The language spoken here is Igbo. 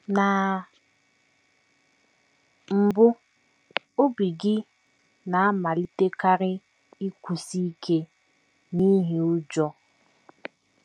Na mbụ, obi gị na - amalitekarị ịkụsi ike n’ihi ụjọ.